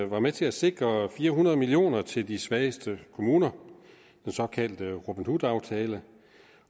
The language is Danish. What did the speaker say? var med til at sikre fire hundrede million kroner til de svageste kommuner den såkaldte robin hood aftale